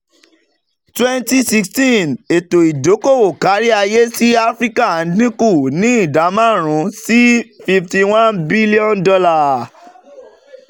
twenty sixteen ètò ìdókòwò kárí-ayé sí áfíríkà dínkù ní ìdá márùn-ún sí fifty one billion dollar